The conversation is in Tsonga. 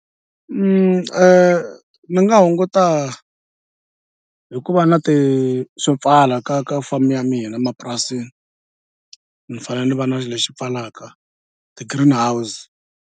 Ni nga hunguta hi ku va na ti swo pfala ka ka farm ya mina emapurasini ni fanele ni va na lexi pfalaka ti-green house.